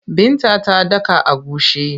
Binta ta daka agushi.